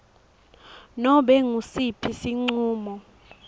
nobe ngusiphi sincumo